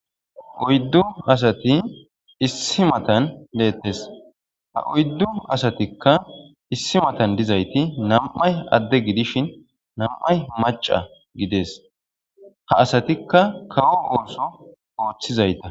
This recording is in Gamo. oyddu asati issi matan leettes ha oyddu asatikka issi matan dizayti nam'ay adde gidishin nam'ay maca gides ha asatikka kawo ooso ooththizayta.